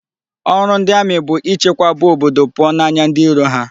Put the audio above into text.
Oru ndi Ami bu ichekwaba obodo puo n'anya ndi iro ha